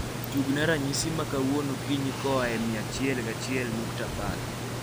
tugna ranyisi ma kawuono okinyi koa e moa achiel gi achiel nukta apar